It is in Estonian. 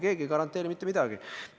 Keegi ei garanteeri mitte midagi.